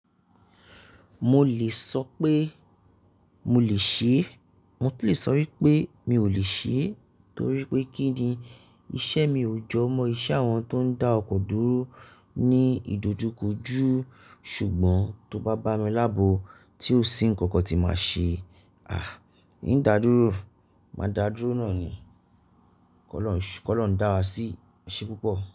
Mo lè sọ pé mo lè ṣe, mo lè sọ wípé mi ò lè ṣe torí pé kí ni iṣẹ́ mi ò jọ mọ iṣẹ́ àwọn tó ń dá ọkọ̀ dúró ní ìdójúkòjú sùgbọ́n tó bá bá mi lábo tí ò sí ǹkankan tí màá ṣe. À, ń dá dúró, máa dá dúró náà ni. Kọlọhun dàwá sí. Ẹse púpọ̀?